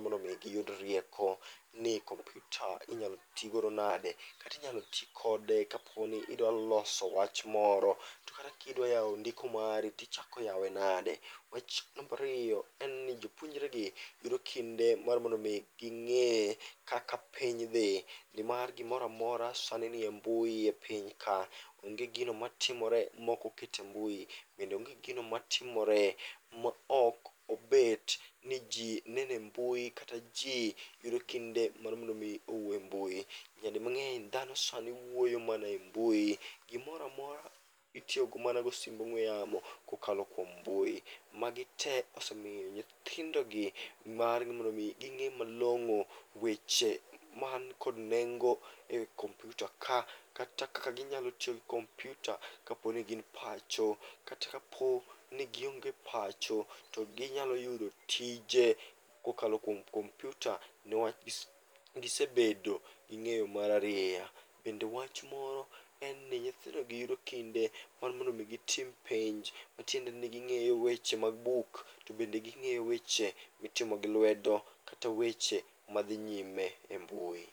mondo mi giyud rieko ni kompyuta inyal tigodo nade. Katinyalo ti kode kaponi idwa loso wach moro, to kata kidwa yawo ndiko mari tichako yawe nade? Wach marariyo, en ni jopuonre gi yudo kinde mar mondo mi ging'e kaka piny dhi. Nimar gimoramora sani nie mbui e piny ka, onge gino matimore mokoketi e mbui. Bende onge gino matimore ma ok obet ni ji nene mbui kata ji yudo kinde mar mondo mi owuo e mbui. Nyadi mang'eny, dhano sani wuoyo mana e mbui, gimoramora itiyogo mana go simb ong'we yamo, kokalo kuom mbui. Magi te osemiyo nyithindo gi margi mondo mi ging'e malong'o weche man kod nengo e kompyuta ka. Kata kaka ginyalo tiyo gi kompyuta kaponi gin pacho, kata kapo ni gionge pacho, to ginyalo yudo tije kokalo kuom kompyuta. Niwach gisebedo gi ng'eyo mararieya. Bende wach moro en ni nyithindo gi yudo kinde mar mondo mi gitim penj, matiende ni ging'eyo weche mag buk. To bende ging'eyo weche mitimo gi lwedo, kata weche madhi nyime e mbui.